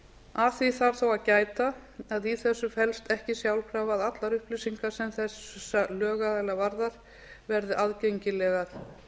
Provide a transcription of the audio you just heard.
að því þarf þó að gæta að í þessu felst ekki sjálfkrafa að allar upplýsingar sem þessa lögaðila varðar verði aðgengilegar